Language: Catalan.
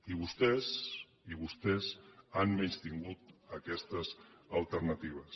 i vostès i vostès han menystingut aquestes alternatives